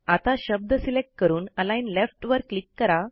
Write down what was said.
आता शब्द सिलेक्ट करून अलिग्न लेफ्ट वर क्लिक करा